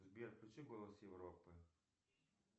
сбер включи голос европы